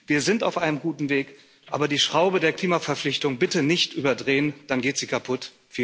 Wir sind auf einem guten Weg, aber die Schraube der Klimaverpflichtung bitte nicht überdrehen, dann geht sie kaputt.